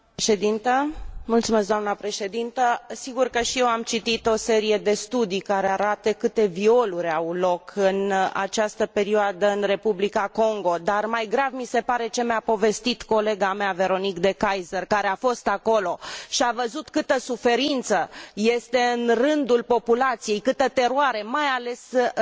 Sigur că și eu am citit o serie de studii care arată câte violuri au loc în această perioadă în Republica Congo, dar mai grav mi se pare ce mi a povestit colega mea Veronique De Keyser, care a fost acolo și a văzut câtă suferință este în rândul populației, câtă teroare, mai ales în rândul femeilor și în rândul copiilor.